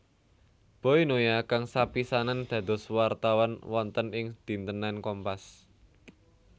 Boy Noya kang sepisanan dados wartawan wonten ing dintenan Kompas